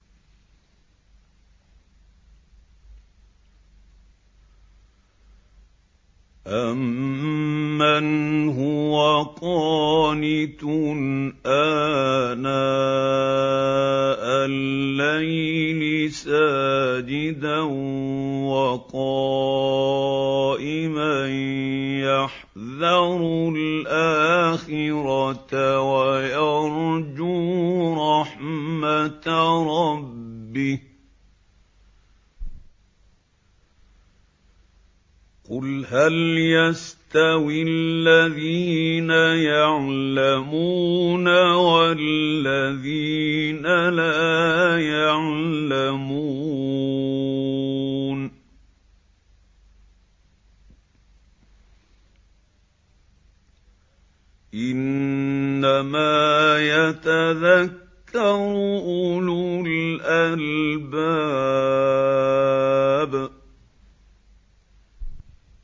أَمَّنْ هُوَ قَانِتٌ آنَاءَ اللَّيْلِ سَاجِدًا وَقَائِمًا يَحْذَرُ الْآخِرَةَ وَيَرْجُو رَحْمَةَ رَبِّهِ ۗ قُلْ هَلْ يَسْتَوِي الَّذِينَ يَعْلَمُونَ وَالَّذِينَ لَا يَعْلَمُونَ ۗ إِنَّمَا يَتَذَكَّرُ أُولُو الْأَلْبَابِ